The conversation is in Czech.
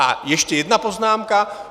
A ještě jedna poznámka.